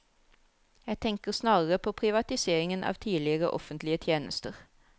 Jeg tenker snarere på privatiseringen av tidligere offentlige tjenester.